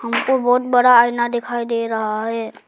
हमको बहत बड़ा आईना दिखाई दे रहा है।